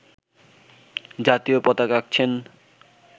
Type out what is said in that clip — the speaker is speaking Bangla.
জাতীয় পতাকা আঁকছেন